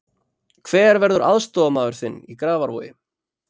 Hver verður aðstoðarmaður þinn í Grafarvogi?